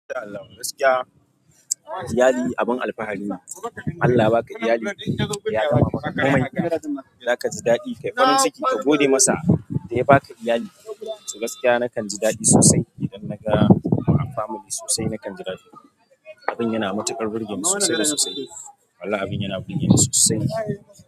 Gaskiya iyali abin alfahari ne. Allah baka iyali ya gama maka komai, zaka ji daɗi. Kai farin ciki ka gode masa da ya baka iyali. To gaskiya nakan ji daɗi sosai idan naga family sosai. Nakan ji daɗi, abun yana matuƙar burgeni sosai da sosai, wallahi abun yana burgeni sosai.